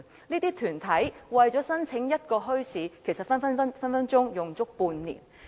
這些團體為了申辦一個墟市，動輒需花半年時間。